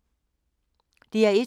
DR1